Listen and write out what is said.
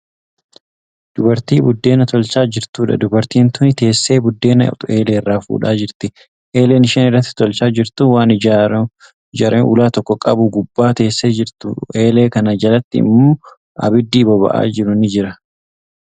Dubartii buddeena tolchaa jirtuudha. dubartiin tuni teessee buddeena eelerraa fuudhaa jirti. eeleen isheen irraatti tolchaa jirtu waan ijaaramaa ulaa tokko qabu gubbaa teessee jirtu. eelee Kana jalatti immoo abiddi boba'aa jiru ni Jira.